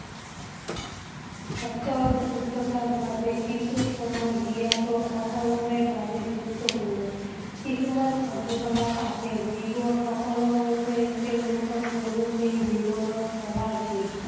স্বাস্থ্য আৰু সুস্থতাৰ বাবে কিছু সময় দিয়া টো সকলোৰে বাবে গুৰুত্বপূৰ্ণ। কিছুমান কাৰ্য-কলাপ আছে যিবোৰ সকলোৱে তেঁওলোকৰ দৈনন্দিন জীৱনত কৰা উচিত।